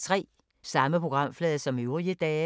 Samme programflade som øvrige dage